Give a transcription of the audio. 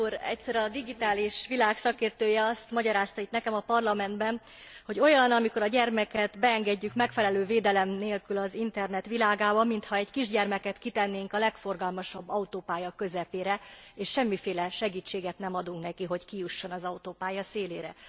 Elnök úr! Egyszer a digitális világ szakértője azt magyarázta itt nekem a Parlamentben, hogy olyan, amikor a gyermeket beengedjük megfelelő védelem nélkül az internet világába, mintha egy kisgyermeket kitennénk a legforgalmasabb autópálya közepére, és semmiféle segítséget nem adunk neki, hogy kijusson az autópálya szélére.